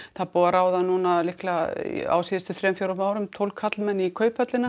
það er búið að ráða á síðustu árum tólf karla í Kauphöllina